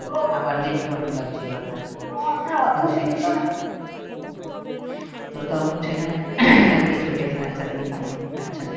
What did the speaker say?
rington বাজছিলো আর কি তো তখন সেখানে কিছু different আপনি পাননি? আচ্ছা